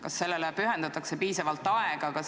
Kas sellele pühendatakse piisavalt aega?